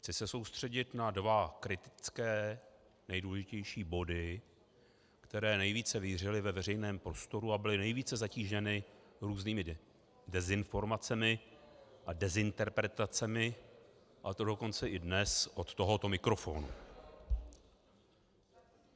Chci se soustředit na dva kritické nejdůležitější body, které nejvíce vířily ve veřejném prostoru a byly nejvíce zatíženy různými dezinformacemi a dezinterpretacemi, a to dokonce i dnes od tohoto mikrofonu.